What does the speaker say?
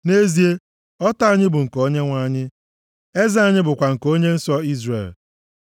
Nʼezie, ọta anyị bụ nke Onyenwe anyị, eze anyị bụkwa nke Onye nsọ Izrel.